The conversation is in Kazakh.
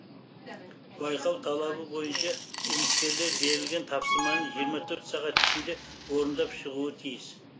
байқау талабы бойынша үміткерлер берілген тапсырманы жиырма төрт сағат ішінде орындап шығуы тиіс